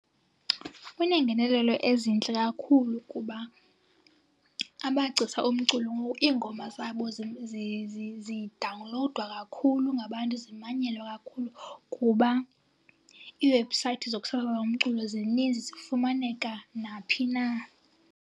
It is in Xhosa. Kuneengenelelo ezintle kakhulu kuba amagcisa omculo ngoku iingoma zabo zidawunlowudwa kakhulu ngabantu, zimanyelwa kakhulu kuba iiwebhusayithi zokusasaza umculo zininzi zifumaneka naphi na.